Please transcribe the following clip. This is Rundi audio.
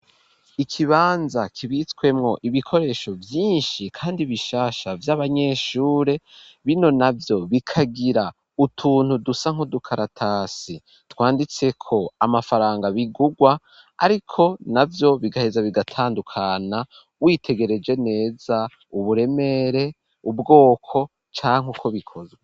Ikibanza kibitswemwo ,ibikoresho vyinshi kandi bishasha vy'abanyeshure, bino navyo bikagira utuntu dusa nkodukaratasi twanditse ko amafaranga bigugwa ,ariko navyo bigaheza bigatandukana, witegereje neza uburemere ubwoko canke uko bikozwa.